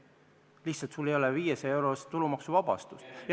Lihtsalt sul ei ole 500-eurost tulumaksuvabastust.